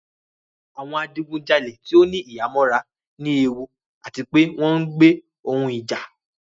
Awọn adigunjale ti o ni ihamọra ni ewu ati pe wọn ń gbe ohun ija